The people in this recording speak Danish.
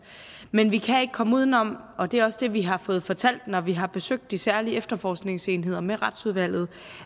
men vi kan ikke komme uden om og det er også det vi har fået fortalt når vi har besøgt de særlige efterforskningsenheder med retsudvalget